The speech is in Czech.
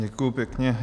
Děkuji pěkně.